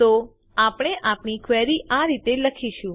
તો આપણે આપણી ક્વેરી આ રીતે લખીશું